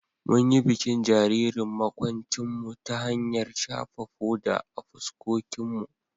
Mun yi bikin jaririn makwabcinmu ta hanyar shafa foda a fuskokinmu.